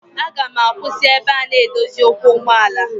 Aga m akwụsị n'ebe a na-edozi ụkwụ ụgbọala.